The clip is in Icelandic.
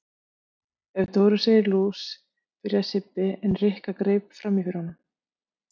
Ef Dóri segir lús. byrjaði Sibbi en Rikka greip fram í fyrir honum.